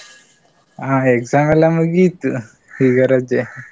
ಹಾ exam ಎಲ್ಲ ಮುಗೀತು ಈಗ ರಜೆ.